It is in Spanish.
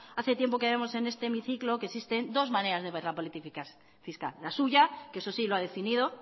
hace tiempo que vemos en este hemiciclo que existen dos maneras de ver la política fiscal la suya que eso sí lo ha definido